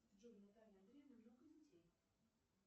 джой у натальи андреевны много детей